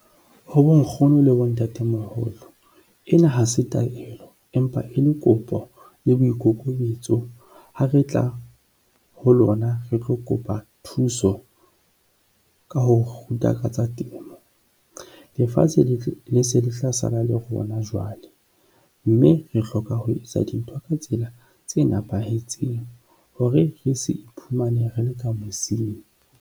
Ho bonkgono le bontatemoholo, ena ha se taelo empa e le kopo le boikokobetso. Ha re tla ho lona re tlo kopa thuso ka ho re ruta ka tsa temo, lefatshe le se le tla sala le rona jwale mme re hloka ho etsa dintho ka tsela tse nepahetseng hore re se iphumane re le ka mosing.